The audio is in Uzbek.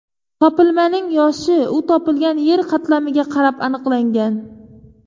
Topilmaning yoshi u topilgan yer qatlamiga qarab aniqlangan.